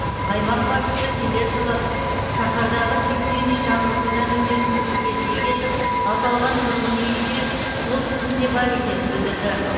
аймақ басшысы келер жылы шаһардағы сексен үй жаңғыртудан өтетінін тілге тиек етіп аталған тұрғын үй де сол тізімде бар екенін білдірді